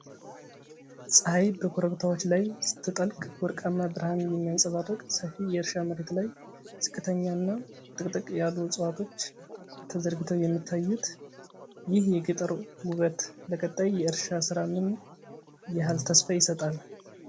ፀሐይ በኮረብታዎች ላይ ስትጠልቅ ወርቃማ ብርሃን የሚያንፀባርቅ ሰፊ የእርሻ መሬት ላይ ዝቅተኛና ጥቅጥቅ ያሉ ዕፅዋቶች ተዘርግተው የሚታዩት፣ ይህ የገጠር ውበት ለቀጣይ የእርሻ ሥራ ምን ያህል ተስፋ ይሰጣል?